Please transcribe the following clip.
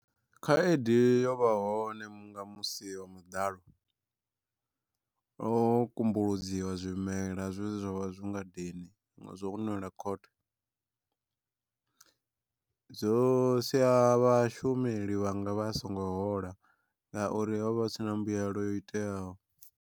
Khaedu yo vha hone nga musi wa muḓalo, ho kumbuludziwa zwimela zwe zwavha zwi ngadeni zwo nwela khothe. Zwo sia vhashumeli vhanga vha songo hola ngauri ho vha hu si na mbuyelo yo iteaho.